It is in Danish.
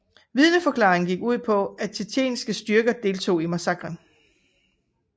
Vidneforklaringerne gik ud på at tsjetsjenske styrker deltog i massakren